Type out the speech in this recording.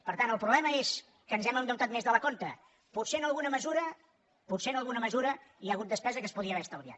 per tant el problema és que ens hem endeutat més del compte potser en alguna mesura potser en alguna mesura hi ha hagut despesa que es podia haver estalviat